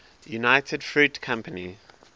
united fruit company